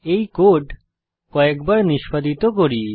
এই কোড কয়েক বার নিষ্পাদিত করি